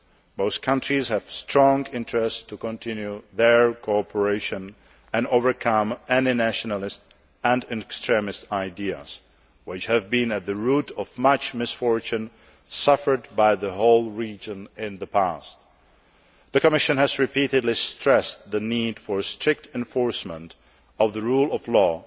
It is very much in the interests of both countries that they continue their cooperation and overcome any nationalist and extremist ideas which have been at the root of much misfortune suffered by the whole region in the past. The Commission has repeatedly stressed the need for a strict enforcement of the rule of